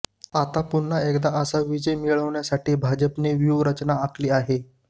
आता पुन्हा एकदा असा विजय मिळवण्यासाठी भाजपने व्यूवरचना आखली आहे